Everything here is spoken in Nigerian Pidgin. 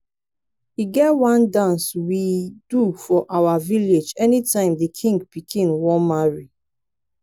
e get one dance we ey do for our village anytime the king pikin wan marry